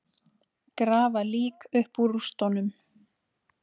Grafa lík upp úr rústum